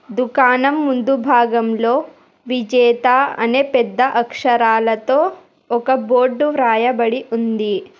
దుకాణం ముందు భాగంలో విజేత అనే పెద్ద అక్షరాలతో ఒక బోర్డు వ్రాయబడి ఉంది.